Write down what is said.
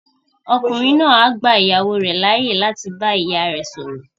Ọkùnrin náà á gba ìyàwó rẹ̀ láyè láti bá ìyá rẹ sọ̀rọ̀